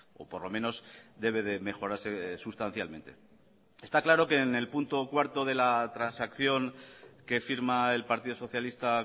o por lo menos debe de mejorarse sustancialmente está claro que en el punto cuarto de la transacción que firma el partido socialista